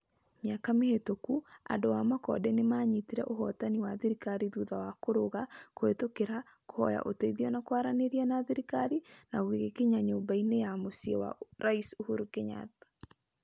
Mĩaka mĩhĩtũku, andũ a Makonde nĩ maanyitire ũhootani wa thirikari thutha wa kũrũga, kũhĩtũkĩra, kũhoya ũteithio na kwaranĩria na thirikari na gũgĩkinya Nyũmba-inĩ ya Mũciĩ wa Rais ũhuru Kenyatta.